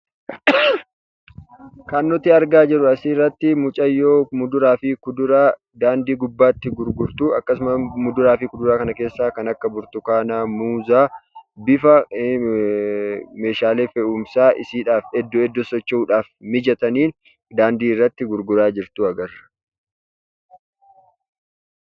Kan nuti argaa jirru asirratti mucayyoo muduraa fi kuduraa daandii gubbaatti gurgurtudha. Muduraa fi kuduraa kana keessaa kan akka burtukaana, muuza bifa meeshaalee fe'umsaa iddoo iddootti socho'uudhaaf mijataniin daandii irratti gurguraa jirtu agarsiisa.